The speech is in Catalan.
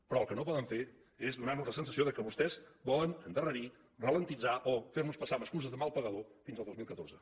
però el que no poden fer és donar nos la sensació que vostès volen endarrerir alentir o fer nos passar amb excuses de mal pagador fins al dos mil catorze